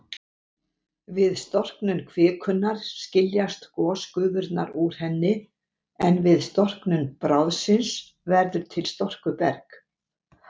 Við storknun kvikunnar skiljast gosgufurnar úr henni, en við storknun bráðsins verður til storkuberg.